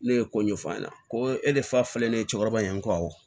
Ne ye ko ɲɛfɔ aw ɲɛna ko e de fa filɛ ne ye cɛkɔrɔba in ye n ko awɔ